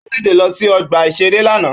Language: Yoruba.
Ó tètè lọ sí ọgbà-ìṣeré lánàá